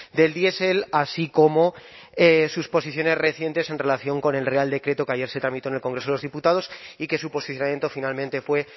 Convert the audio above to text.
del diesel así como sus posiciones recientes en relación con el real decreto que ayer se tramitó en el congreso de los diputados y que su posicionamiento finalmente fue